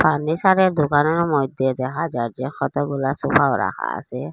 ফার্নিসারের দুকানের মইধ্যে দেখা যায় যে কতগুলা সোফাও রাখা আসে ।